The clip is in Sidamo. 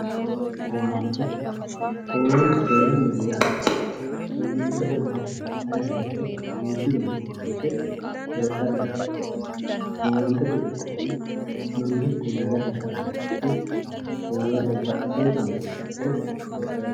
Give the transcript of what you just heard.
Owaante, owaantete yaa owaante owaattanohu ayiitiro ,duuchu dani owaante heedhara dandiittano ,owaantete giddoni mangiste dagate uyittanoti babbaxxitino dani owaante heedhara dandiittano.